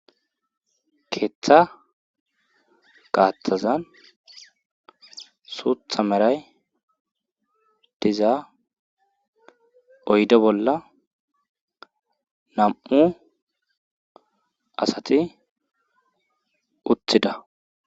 Keeththa gaattazan suutha meray diza oyde bolla nam7u asati uththida.